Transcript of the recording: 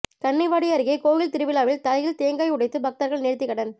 கன்னிவாடி அருகே கோயில் திருவிழாவில் தலையில் தேங்காய் உடைத்து பக்தர்கள் நேர்த்திக்கடன்